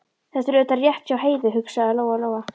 Þetta er auðvitað rétt hjá Heiðu, hugsaði Lóa Lóa.